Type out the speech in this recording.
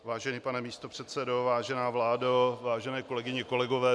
Vážený pane místopředsedo, vážená vládo, vážené kolegyně, kolegové.